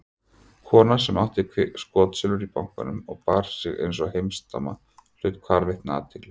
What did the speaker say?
Kona sem átti skotsilfur í bankanum og bar sig einsog heimsdama hlaut hvarvetna athygli.